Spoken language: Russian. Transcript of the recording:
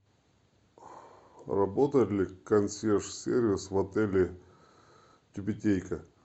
работает ли консьерж сервис в отеле тюбетейка